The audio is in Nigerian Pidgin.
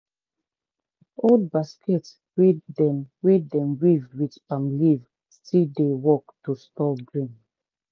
old basket wey dem wey dem weave with palm leaf still dey work to store grain.